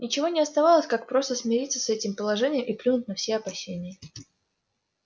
ничего не оставалось как просто смириться с этим положением и плюнуть на все опасения